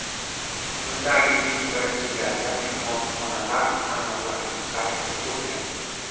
Bunda agentlik birinchi galda mehmonxonalar tarmoqlarini qayd etib o‘tgan.